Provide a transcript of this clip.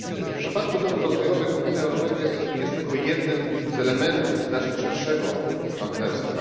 W przypadku celów rozwojowych Unia Europejska jest tylko jednym z elementów znacznie szerszego partnerstwa.